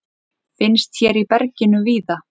Finnst hér í berginu víða.